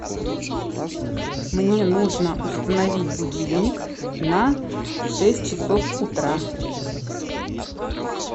мне нужно установить будильник на шесть часов утра